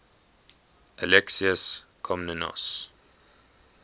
alexius komnenos